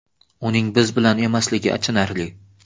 Uning biz bilan emasligi achinarli.